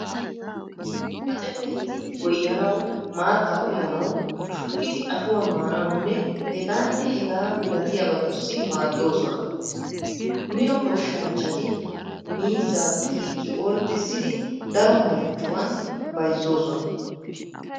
Kace meheti goyyanawu, maattaa uyanawu, shukkidi ashuwaa maanawunne hegaanne hegaa malatiyabatussi maaddoosona. Mino goshshanchchati miizzaa xiikki ordissidi daro marccuwaan bayzoosona.